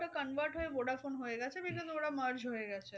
ওরা convert হয়ে vodaphone হয়ে গেছে। because ওরা merge হয়ে গেছে।